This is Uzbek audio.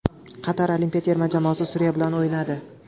Qatar olimpiya terma jamoasi Suriya bilan o‘ynadi.